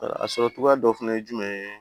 A sɔrɔ cogoya dɔ fana ye jumɛn ye